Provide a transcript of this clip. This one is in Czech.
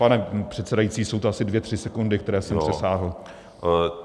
Pane předsedající, jsou to asi dvě tři sekundy, které jsem přesáhl.